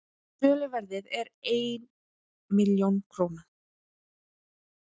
söluverðið er einn milljón króna